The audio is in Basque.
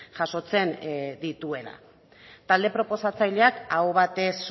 jasotzen dituela talde proposatzaileak aho batez